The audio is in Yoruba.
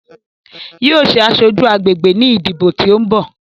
Yóò ṣe aṣojú agbègbè ní ìdìbò tí ó ń bò.